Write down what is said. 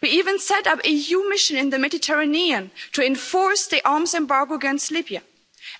We even set up an EU mission in the Mediterranean to enforce the arms embargo against Libya,